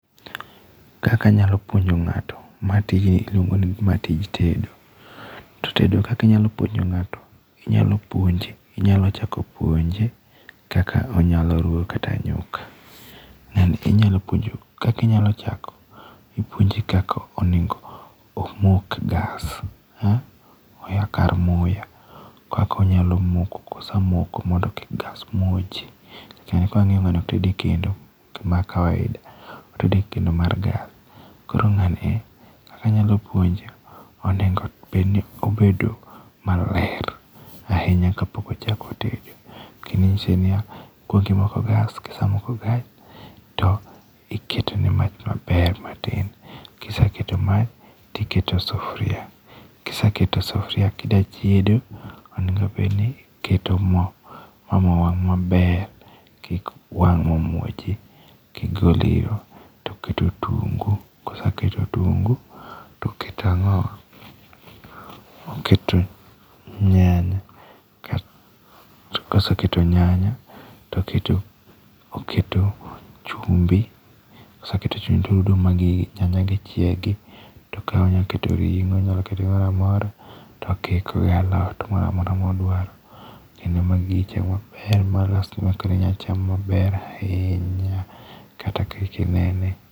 Kaka anyalo puonjo ng'ato, ma tijni iluongo ni tedo. To tedo kaka inyalo puonjo ng'ato, inyalo puonje, inyalo chako puonje kaka onyalo chako ruwo kata nyuka. Ng'ani inyalo puonjo kaka inyalo chako ipuonje kaka onego omok gas, oyaw kar muya. Kaka onyalo moko kosemoko, mondo kik gas muoch. Ng'ani ka wang'iyo ng'ani ok oted e kendo ma kawaida, otedo ekendo mar gas, koro ng'ani kaka anyalo puonje kaka onego bed ni obet maler ahinya kapok ochako tedo kendo nyise ni kaok imoko gasv, sama imoko gas iketone mach maber matin, ka iseketo mach, iketo sufuria, kiseketo sufuria kidwa chiedo onego bed ni , iketo mo ma mo wang' maber kik wang' ma muoji magol iro, to iketo otungu, kiseketo otungu, to oketo ang'owa, oketo nyanya koseketo nyanya to oketo chumbi, ka oseketo chumbi to orudo ma gigi nyanyagi chiegi to koro onyalo keto ring'o onyalo keto gimoro amora to okiko gi alot moro amora ma odwaro kendo ma gigi chieg molos maber makoro inyalo cham maber ahinya kata ka inene.